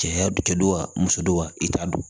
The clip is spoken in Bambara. Cɛya du kɛdɔ wa muso don wa i t'a don